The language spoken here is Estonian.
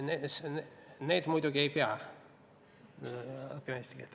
Need inimesed muidugi ei peaks õppima eesti keelt.